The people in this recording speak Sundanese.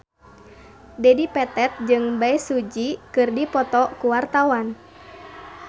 Dedi Petet jeung Bae Su Ji keur dipoto ku wartawan